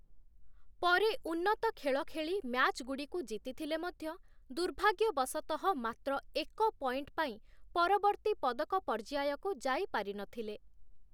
ପରେ ଉନ୍ନତ ଖେଳ ଖେଳି ମ୍ୟାଚ୍‌ଗୁଡ଼ିକୁ ଜିତିଥିଲେ ମଧ୍ୟ ଦୁର୍ଭାଗ୍ୟ ବସତଃ ମାତ୍ର ଏକ ପଏଣ୍ଟ ପାଇଁ ପରବର୍ତ୍ତୀ ପଦକ ପର୍ଯ୍ୟାୟକୁ ଯାଇପାରିନଥିଲେ ।